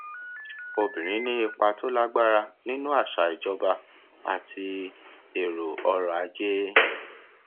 obìnrin ni ipa tó lágbára nínú àṣà ìjọba àti èrò ọrọ ajé